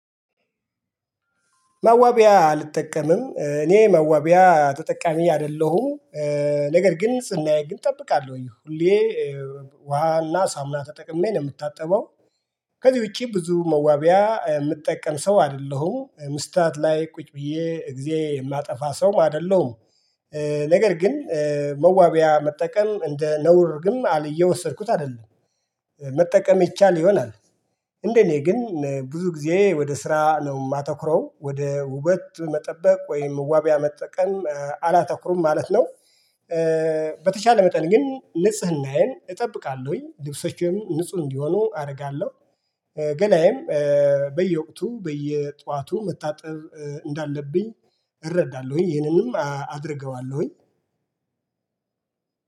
መዋቢያ አልጠቀምም እኔ መዋቢያ ተጠቃሚ አይደለሁም። ነገር ግን ስናየው ግን እጠብቃለሁ ወይ ሁሌ ውሃና ሳሙና ተጠቅሜ ነው የምታጠበው። ከዚህ ውጪ ብዙ መዋቢያ የምጠቀም ሰው አይደለሁም ምስታየት ላይ ቁጭ ብዬ እግዜ የማጠፋ ሰው አይደለሁም። ነገር ግን መዋቢያ መጠቀም እንደ ነውር ግን አልየወሰድኩት አይደለም። መጠቀም ይቻል ይሆናል። እንደ እኔ ግን ብዙ ጊዜ ወደ ስራ ነው የማተኩረው ወደ ውበት መጠበቅ ወይም መዋቢያ መጠቀም አላተኩሩም ማለት ነው። በተቻለ መጠን ግን ንጽህናዬን እጠብቃለሁኝ ልብሶችኖቼም ንጹህ እንዲሆኑ አደርጋለሁ። ገላዬም በየወቅቱ በየጧቱ መታጠብ እንዳለብኝ እረዳለሁኝ ይህንንም አድርገዋለሁኝ።